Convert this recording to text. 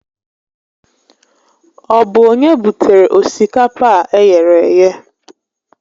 Ọ bụ onye butere osikapa a eghere eghe?